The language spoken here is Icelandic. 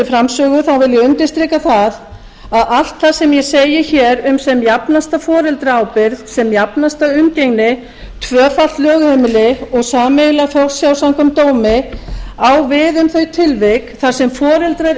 framsögu þá vil ég undirstrika það að allt það sem ég segi hér um sem jafnasta foreldraábyrgð sem jafnasta umgengni tvöfalt lögheimili og sameiginlega forsjá samkvæmt dómi á við um þau tilvik þar sem foreldrar